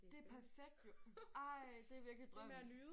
Ej perfekt jo. Ej det er virkelig drømmen